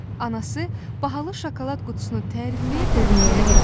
Anası bahalı şokolad qutusunu tərifləyə-tərifləyə dedi.